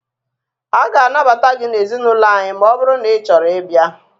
A ga anabata gị na ezinaụlọ anyị maọbụru na Ị chọrọ ị bia